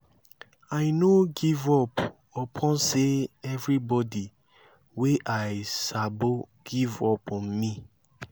i no give up upon sey everybodi wey i sabo give up on me.